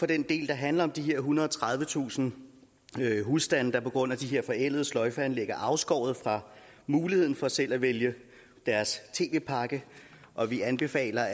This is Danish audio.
den del der handler om de ethundrede og tredivetusind husstande der på grund af de her forældede sløjfeanlæg er afskåret fra muligheden for selv at vælge tv pakke og vi anbefaler